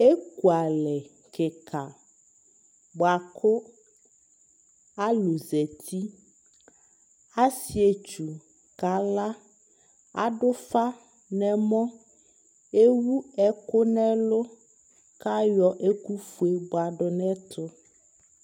Ekuzlɍ kɩka bʋakʋ alʋ zati: asɩetsu kala , adʋfa n'ɛmɔ , ewu ɛkʋ n'ɛlʋ , k'ayɔ ɛkʋfue bʋadʋ n'ɛtʋ